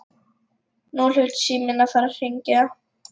Nú hlaut síminn að fara að hringja.